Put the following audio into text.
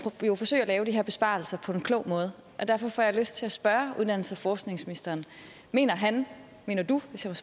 lave de her besparelser på en klog måde derfor får jeg lyst til at spørge uddannelses og forskningsministeren mener han mener du hvis jeg